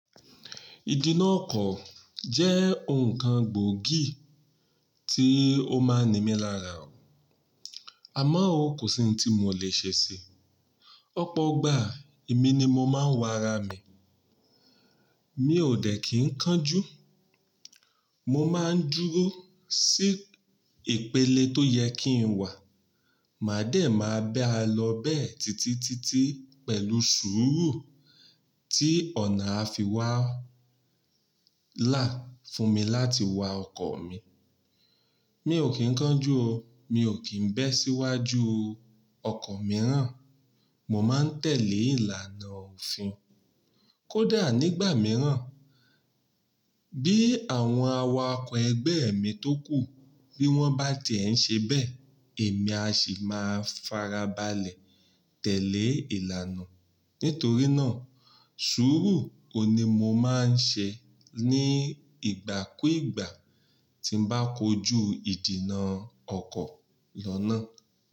Ìdì nà kọ̀ jẹ́ ǹkan gbóògì tí ó máa ń ní mi lára oh, àmọ́ ó kò sí ohun tí mo lè ṣe sí i. Ọ̀pọ̀ ìgbà èmi ni mo máa ń wa ara mi, Mi ò dẹ̀ kí ń kánjú, mo máa ń dúró sí ìpele tó yẹ kí n wà, màá dẹ̀ máa bá a lọ bẹ́ẹ̀ títí títí pẹ̀lú sùúrù tí ọ̀nà á fi wá. Là fún mi láti wa ọkọ̀ mi. Mi ò kí ń kánjú o, mi ò kí ń bẹ́ síwájú. Okọ̀ mìíràn, mo máa ń tẹ̀lé ìlànà òfin. Kódà nígbà mìíràn bí àwọn awakọ̀ ẹgbẹ́ mi tó kù bí wọ́n bá ti e ń ṣe bẹ́ẹ̀, èmi a sì máa farabalẹ̀ tẹ̀lé ìlànà. Nítorí náà, sùúrù òun ní mo máa ń ṣe ní ìgbàkúùgbà tí n bá kojú ìdìnà ọkọ̀ lọ́nà.